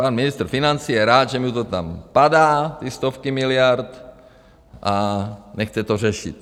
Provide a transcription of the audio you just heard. Pan ministr financí je rád, že mu to tam padá, ty stovky miliard, a nechce to řešit.